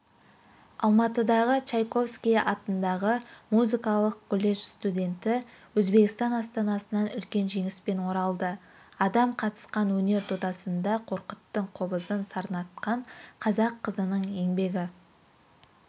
алматыдағы чайковский атындағы музыкалық колледж студенті өзбекстан астанасынан үлкен жеңіспен оралды адам қатысқан өнер додасында қорқыттың қобызын сарнатқан қазақ қызының еңбегі